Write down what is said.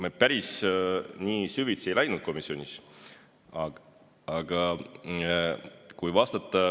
Me päris nii süvitsi komisjonis ei läinud.